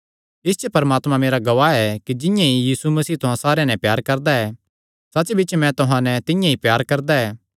इस च परमात्मा मेरा गवाह ऐ कि जिंआं ई यीशु मसीह तुहां सारेयां नैं प्यार करदा ऐ सच्चबिच्च मैं भी तुहां नैं तिंआं ई प्यार करदा ऐ